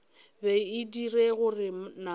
be e dira gore namana